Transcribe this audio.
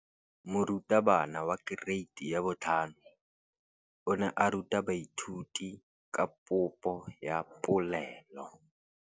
Moratabana wa kereiti ya 5 o ne a ruta baithuti ka popô ya polelô.